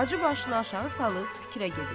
Hacı başını aşağı salıb fikrə gedir.